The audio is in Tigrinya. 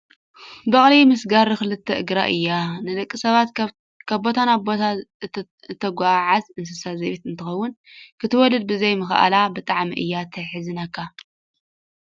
በቅሊ ምስ ጋሪ ክልተ እግራ እያ። ንደቂ ሰባት ካብ ቦታ ናብ ቦታ እተጓዓዓዝ እንስሳ ዘቤት እንትከውን፣ ክትወልድ ብዘይ ምካኣላ ብጣዕሚ እያ ትሕዝነካ።